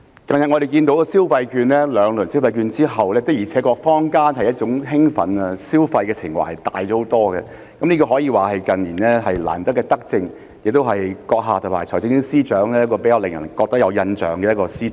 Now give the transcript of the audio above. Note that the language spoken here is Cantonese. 近日，我們看到在發放兩輪消費券後，坊間的興奮和消費情懷的確大了很多，這可以說是近年難得的德政，亦是行政長官和財政司司長較令人有印象的一項施政。